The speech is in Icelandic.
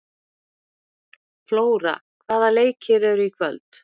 Flóra, hvaða leikir eru í kvöld?